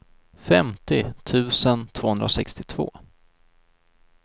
femtio tusen tvåhundrasextiotvå